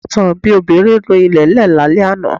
Ìbátan mi obìnrin nu ilẹ̀lẹ́ẹ̀ lálẹ́ àná